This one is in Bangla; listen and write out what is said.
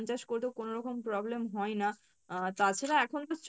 চাষ করতে কোনো রকম problem হয় না আহ তাছাড়া এখন তো